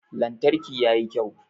Lantarki ya yi kyau.